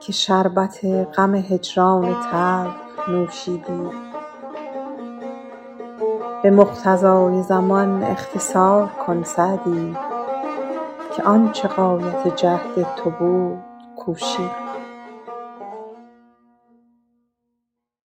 که شربت غم هجران تلخ نوشیدی به مقتضای زمان اقتصار کن سعدی که آن چه غایت جهد تو بود کوشیدی